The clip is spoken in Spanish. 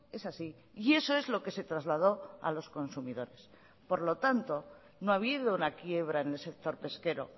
es así y eso es lo que se trasladó a los consumidores por lo tanto no ha habido una quiebra en el sector pesquero